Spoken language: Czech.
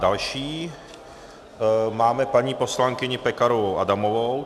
Další máme paní poslankyni Pekarovou Adamovou.